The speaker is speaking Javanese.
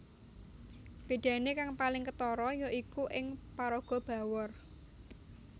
Bedane kang paling ketara ya iku ing paraga Bawor